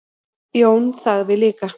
Jón þagði líka.